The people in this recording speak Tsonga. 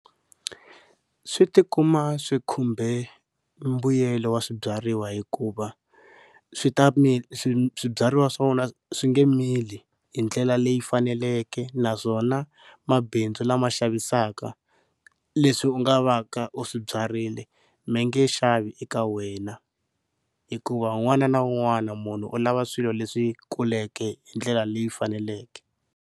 Swi tikuma swi khumbe mbuyelo wa swibyariwa hikuva swi ta swibyariwa swa vona swi nge mili hi ndlela leyi faneleke naswona mabindzu lama xavisaka leswi u nga va ka u swi byarile mi nge xavi eka wena hikuva un'wana na un'wana munhu u lava swilo leswi kuleke hi ndlela leyi faneleke.